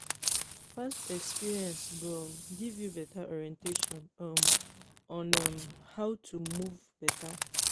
past experience go um giv yu beta orientation um on um how to move beta